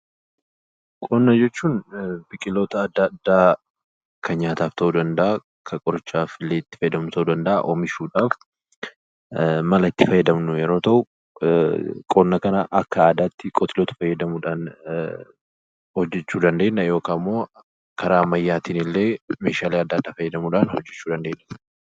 Qonna jechuun biqiloota adda addaa kan nyaataaf ta'uu danda'a, kan qorichaafillee itti fayyadamnu ta'uu danda'a, oomisha oomishuudhaaf mala itti fayyadamnu yeroo ta'u, qonna kana akka aadaatti itti fayyadamuudhaan hojjechuu dandeenya yookaan immoo karaa ammayyaatiin illee meeshaalee adda addaa fayyadamuudhaan hojjechuu dandeenya.